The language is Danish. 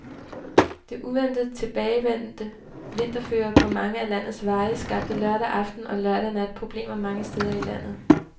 Det uventet tilbagevendte vinterføre på mange af landets veje skabte lørdag aften og lørdag nat problemer mange steder i landet.